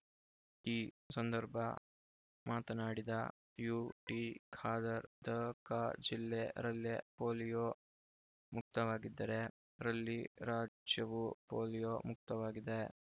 ಈ ಸಂದರ್ಭ ಮಾತನಾಡಿದ ಯುಟಿ ಖಾದರ್ ದಕ ಜಿಲ್ಲೆ ರಲ್ಲೇ ಪೋಲಿಯೊ ಮುಕ್ತವಾಗಿದ್ದರೆ ರಲ್ಲಿ ರಾಜ್ಯವೂ ಪೋಲಿಯೊ ಮುಕ್ತವಾಗಿದೆ